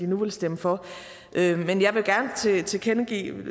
nu vil stemme for men jeg vil gerne tilkendegive